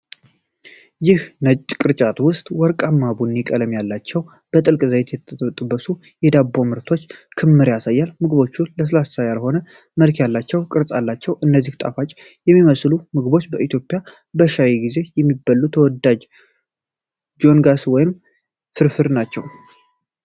ይህ ነጭ ቅርጫት ውስጥ ወርቃማ ቡኒ ቀለም ያላቸውና በጥልቅ ዘይት የተጠበሱ የዳቦ ምርቶች ክምር ያሳያል። ምግቦቹ ለስላሳ ያልሆነ መልክ ያላቸውና ቅርጽ አላቸው። እነዚህ ጣፋጭ የሚመስሉ ምግቦች በኢትዮጵያ በሻይ ጊዜ የሚበሉ ተወዳጅ ዶንጋስ ወይም ፊርፊር ናቸውን?